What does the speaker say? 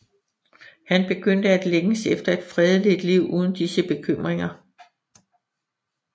Han begyndte at længes efter et fredeligt liv uden disse bekymringer